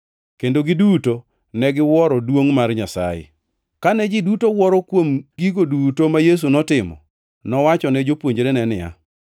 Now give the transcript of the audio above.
Kendo giduto ne giwuoro duongʼ mar Nyasaye. Kane ji duto wuoro kuom gigo duto ma Yesu notimo, nowachone jopuonjrene niya,